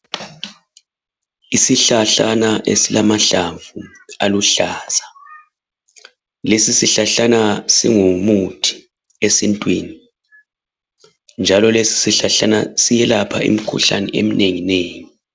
Isihlahlana esilamahlamvu aluhlaza, lesi sihlahlana singumuthi esintwini njalo lesi sihlahlana siyelapha imikhuhlane eminenginengi.